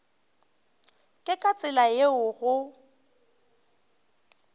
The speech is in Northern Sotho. ke ka tsela yeo go